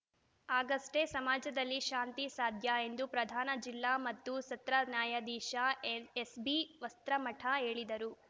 ಆಗಷ್ಟೇ ಸಮಾಜದಲ್ಲಿ ಶಾಂತಿ ಸಾಧ್ಯ ಎಂದು ಪ್ರಧಾನ ಜಿಲ್ಲಾ ಮತ್ತು ಸತ್ರ ನ್ಯಾಯಾಧೀಶ ಎ ಎಸ್‌ಬಿವಸ್ತ್ರಮಠ ಹೇಳಿದರು